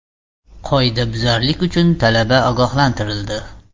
Qoidabuzarlik uchun talaba ogohlantirildi.